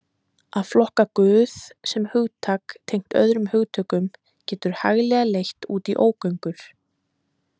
Að flokka Guð sem hugtak tengt öðrum hugtökum getur hæglega leitt út í ógöngur.